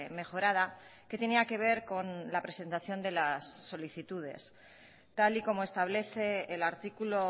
mejorada que tenía que ver con la presentación de las solicitudes tal y como establece el artículo